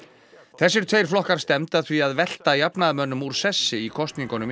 þessir tveir flokkar stefndu að því að velta jafnaðarmönnum úr sessi í kosningunum í